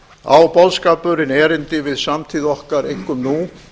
á boðskapurinn erindi við samtíð okkar einkum nú